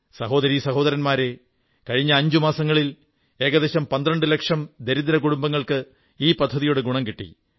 സഹോദരീ സഹോദരന്മാരേ കഴിഞ്ഞ അഞ്ചു മാസങ്ങളിൽ ഏകദേശം പന്ത്രണ്ടു ലക്ഷം ദരിദ്ര കുടുംബങ്ങൾക്ക് ഈ പദ്ധതിയുടെ ഗുണം കിട്ടി